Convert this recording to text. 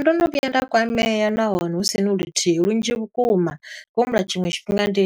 Ndono vhuya nda kwamea, nahone husini luthihi, lunzhi vhukuma. Ndi khou humbula tshiṅwe tshifhinga ndi,